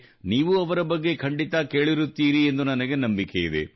ನೀವೂ ಅವರ ಬಗ್ಗೆ ಖಂಡಿತಾ ಕೇಳಿರುತ್ತೀರಿ ಎಂದು ನನಗೆ ನಂಬಿಕೆಯಿದೆ